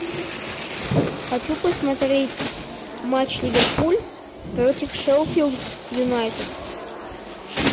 хочу посмотреть матч ливерпуль против шеффилд юнайтед